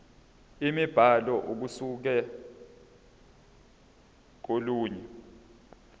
imibhalo ukusuka kolunye